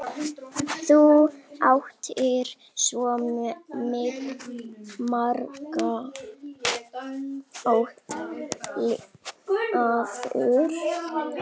Þú áttir svo margt ólifað.